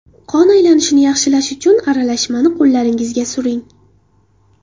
Qon aylanishini yaxshilash uchun aralashmani qo‘llaringizga suring.